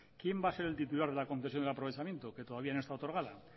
quién va a ser el titular de la concesión del aprovechamiento que todavía no está otorgada